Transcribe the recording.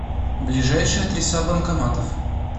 ближайшие адреса банкоматов